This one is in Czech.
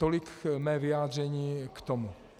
Tolik mé vyjádření k tomu.